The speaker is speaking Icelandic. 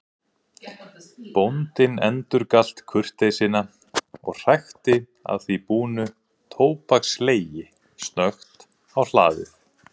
Bóndinn endurgalt kurteisina og hrækti að því búnu tóbakslegi snöggt á hlaðið.